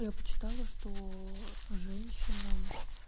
я почитала что женщинам